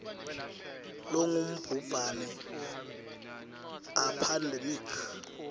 longubhubhane a pandemic